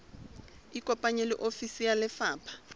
ikopanye le ofisi ya lefapha